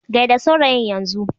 Gai da saurayin Yan zun.